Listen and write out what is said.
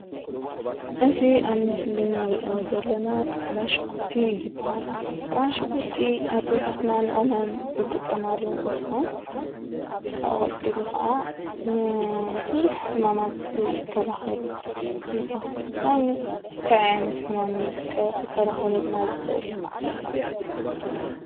እዚ ኣብ ምስሊ እንሪኦ ዘለና ፃዕዳ ሽጉርቲ እዩ ዝብሃል። ፃዕዳ ሽጉርቲ ኣዴታትና ንቐመም ዝጠቀማሉ እንትኾን ካብኡ ቀፂሉ ከዓ ንቡዙሕ ሕማማት ይከላከል እዩ ዝብሃል ። ንኣብነት እንታይ ዓይነት ሕማም እዩ ክከላከለልና ዝክእል?